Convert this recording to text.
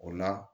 O la